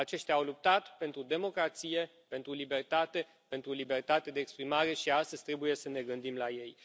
Aceștia au luptat pentru democrație, pentru libertate, pentru libertatea de exprimare și astăzi trebuie să ne gândim la ei.